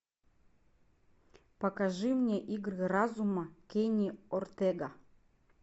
покажи мне игры разума кенни ортега